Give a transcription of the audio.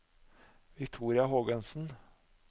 Victoria Hågensen